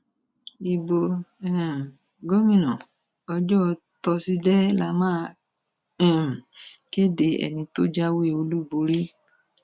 ibo um gómìnà ọjọ tọsídẹẹ la máa um kéde ẹni tó jáwé olúborí